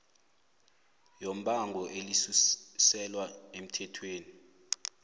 yombango elisuselwa emthethweni